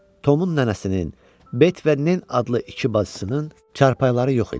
Tomun nənəsinin, Bet və Nen adlı iki bacısının çarpayıları yox idi.